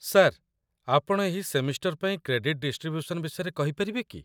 Sir, ଆପଣ ଏହି semester ପାଇଁ କ୍ରେଡିଟ ଡିଷ୍ଟ୍ରିବ୍ୟୁସନ୍ ବିଷୟରେ କହିପାରିବେ କି?